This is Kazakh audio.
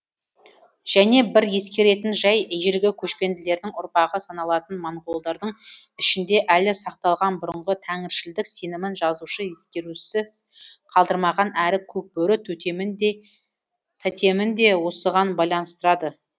және бір ескеретін жай ежелгі көшпенділердің ұрпағы саналатын моңғолдардың ішінде әлі сақталған бұрынғы тәңіршілдік сенімін жазушы ескерусіз қалдырмаған әрі көкбөрі тотемін де осыған байланыстырады